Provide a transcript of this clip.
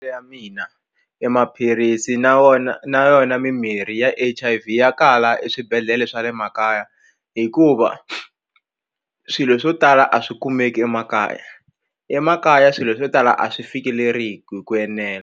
Ya mina e maphilisi na wona na yona mimirhi ya H_I_V ya kala eswibedhlele swa le makaya hikuva swilo swo tala a swi kumeki emakaya emakaya swilo swo tala a swi fikeleri hi ku enela.